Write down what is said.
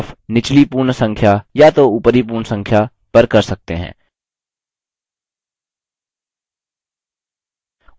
rounding off निचली पूर्ण संख्या या तो ऊपरी पूर्ण संख्या पर कर सकते हैं